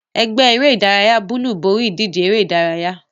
Ẹgbẹ́ eré-idárayá búúlù borí ìdíje eré-idárayá.